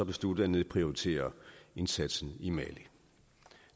besluttet at nedprioritere indsatsen i mali